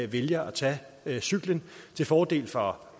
vælger at tage cyklen til fordel for